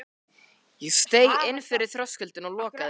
Ég steig inn fyrir þröskuldinn og lokaði.